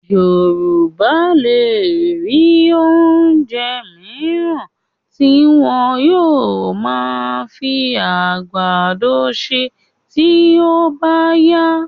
Yorù̀bá lè rí oúnjẹ mìíràn tí wọn yóò máa fi àgbàdo ṣe tí ó bá yá